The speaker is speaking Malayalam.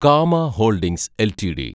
Cama holdings LTD